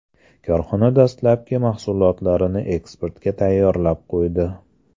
Korxona dastlabki mahsulotlarni eksportga tayyorlab qo‘ydi.